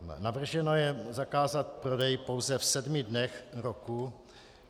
Navrženo je zakázat prodej pouze v sedmi dnech roku.